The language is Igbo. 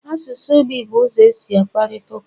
Asụsụ ogbi bụ ụzọ e si akparịta ụka